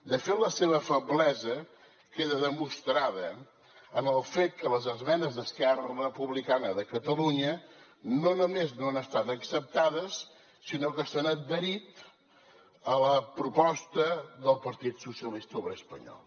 de fet la seva feblesa queda demostrada en el fet que les esmenes d’esquerra republicana de catalunya no només no han estat acceptades sinó que s’han adherit a la proposta del partit socialista obrer espanyol